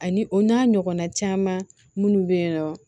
Ani o n'a ɲɔgɔnna caman minnu bɛ yen nɔ